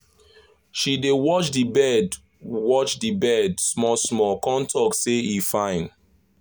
she dey watch d bird watch d bird small small con talk say e fine